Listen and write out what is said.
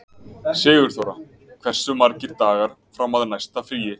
Sigurþóra, hversu margir dagar fram að næsta fríi?